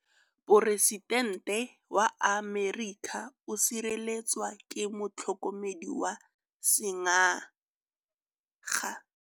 Poresitêntê wa Amerika o sireletswa ke motlhokomedi wa sengaga.